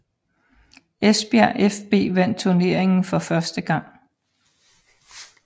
Esbjerg fB vandt turneringen for første gang